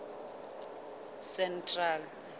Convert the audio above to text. central